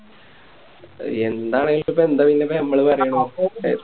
ആയെന്താണെലിപ്പോ എന്താ പിന്നിപ്പോ ഞമ്മള് പറയണ്